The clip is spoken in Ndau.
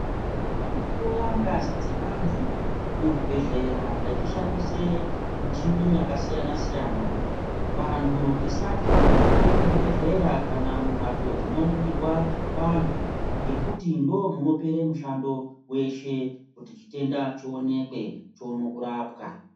Vanohloya ngazi dzevantu muzvibhedhlera vachishandise michini yakasiyana siyana. Vantu tisatye kupinda muzvibhedhlera kana mumhatso dzinoningirwa vantu ngekuti ndoomunopere mushando weshe kuti chitenda chionekwe chione kurapwa.